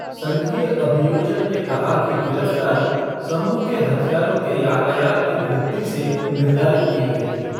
संघीय अभियोजक ने कहा कि गिरफ्तारी समूह के हथियारों के यातायात में वृद्धि से निर्धारित की गई थी।